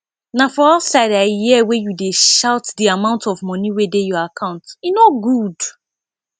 na for outside i hear wey you dey shout the amount of money wey dey your account e no good